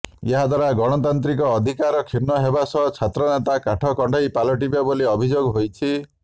ଏହାଦ୍ୱାରା ଗଣତାନ୍ତ୍ରିକ ଅଧିକାର କ୍ଷୁର୍ଣ୍ଣ ହେବା ସହ ଛାତ୍ରନେତା କାଠ କଣ୍ଢେଇ ପାଲଟିବେ ବୋଲି ଅଭିଯୋଗ ହୋଇଛି